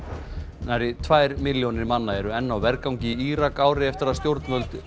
nærri tvær milljónir manna eru enn á vergangi í Írak ári eftir að stjórnvöld